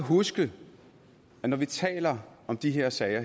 huske at når vi taler om de her sager